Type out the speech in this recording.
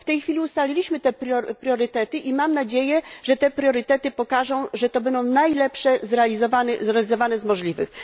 W tej chwili ustaliliśmy te priorytety i mam nadzieję, że te priorytety pokażą, że to będą najlepsze zrealizowane z możliwych.